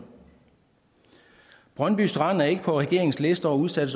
brøndby strand er ikke på regeringens liste over udsatte